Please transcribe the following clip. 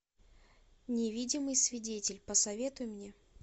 невидимый свидетель посоветуй мне